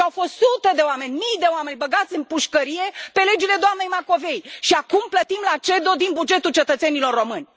Au fost sute de oameni, mii de oameni băgați în pușcărie pe legile doamnei Macovei și acum plătim la CEDO din bugetul cetățenilor români.